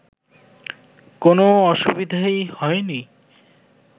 কোনও অসুবিধাই হয়নি